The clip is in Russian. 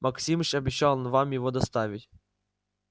максимыч обещал вам его доставить